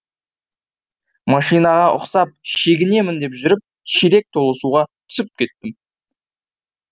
машинаға ұқсап шегінемін деп жүріп шелек толы суға түсіп кеттім